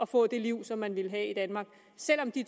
få det liv som man ville have i danmark selv om det